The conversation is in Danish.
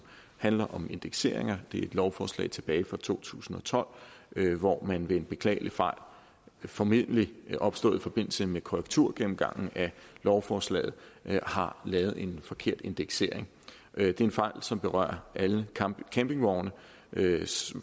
handler om indekseringer det er et lovforslag tilbage fra to tusind og tolv hvor man ved en beklagelig fejl formentlig opstået i forbindelse med korrekturgennemgangen af lovforslaget har lavet en forkert indeksering det er en fejl som berører alle campingvogne